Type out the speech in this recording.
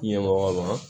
Ɲɛmɔgɔ ma